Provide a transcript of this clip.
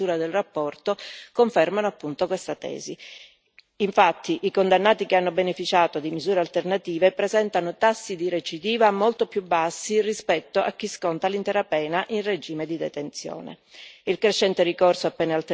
I dati raccolti nel corso della stesura della relazione confermano appunto questa tesi infatti, i condannati che hanno beneficiato di misure alternative presentano tassi di recidiva molto più bassi rispetto a chi sconta l'intera pena in regime di detenzione.